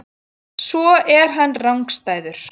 Svo er hann rangstæður.